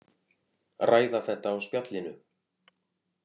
Ræða þetta á spjallinu.